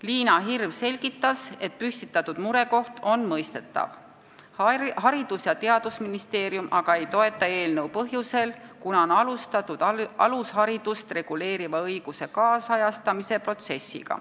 Liina Hirv selgitas, et mure on mõistetav, Haridus- ja Teadusministeerium aga ei toeta eelnõu põhjusel, et juba on alustatud alusharidust reguleeriva õiguse kaasajastamise protsessi.